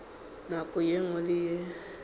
nako ye nngwe le ye